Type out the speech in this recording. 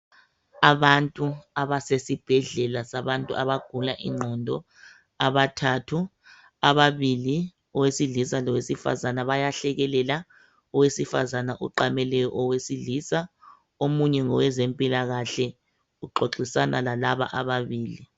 Abantu abasesibhedlela sabantu abagula ingqondo abathathu. Ababili owesilisa lowesifazana bayahlekelela, owesifazana uqamele owesilisa. Omunye ngowezempilakahle, uxoxisana lalaba ababili.